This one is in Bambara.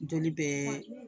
N joli bɛ